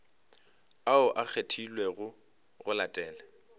ao a kgethilwego go latela